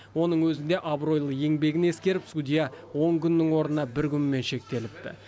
оның өзінде абыройлы еңбегін ескеріп судья он күннің орнына бір күнмен шектеліпті